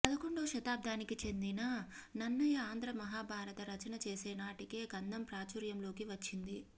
పదకొండో శతాబ్దానికి చెందిన నన్నయ ఆంధ్రమహాభారత రచన చేసే నాటికే కందం ప్రాచుర్యంలోకి వచ్చింది